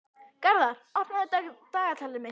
Garðar, opnaðu dagatalið mitt.